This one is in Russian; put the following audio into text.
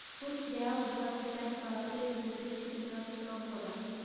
курс реала двадцать пятого апреля две тысячи тринадцатого года